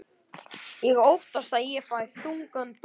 Ég óttast að ég fái þungan dóm.